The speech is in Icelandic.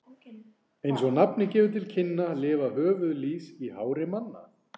Eins og nafnið gefur til kynna lifa höfuðlýs í hári manna.